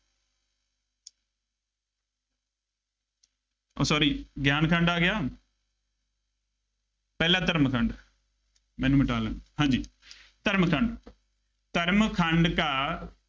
ਉਹ sorry ਗਿਆਨ ਖੰਡ ਆ ਗਿਆ, ਪਹਿਲਾ ਧਰਮ ਖੰਡ, ਮੈਨੂੰ ਮਿਟਾ ਲੈਣ ਦਿਉ, ਹਾਂਜੀ, ਧਰਮ ਖੰਡ ਧਰਮ ਖੰਡ ਕਾ